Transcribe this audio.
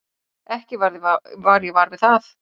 Ekki varð ég var við það.